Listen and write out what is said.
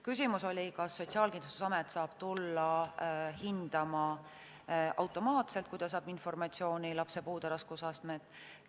Küsimus oli, kas Sotsiaalkindlustusamet saab tulla automaatselt hindama, kui ta saab informatsiooni lapse puude raskusastme kohta.